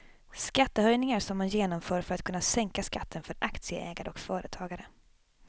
Skattehöjningar som man genomför för att kunna sänka skatten för aktieägare och företagare.